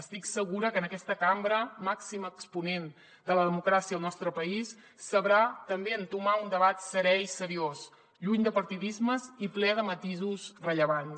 estic segura que en aquesta cambra màxim exponent de la democràcia al nostre país sabrà també entomar un debat serè i seriós lluny de partidismes i ple de matisos rellevants